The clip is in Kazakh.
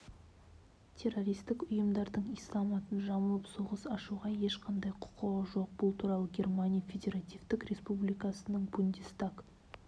террористік ұйымдардың ислам атын жамылып соғыс ашуға ешқандай құқығы жоқ бұл туралы германия федеративтік республикасының бундестаг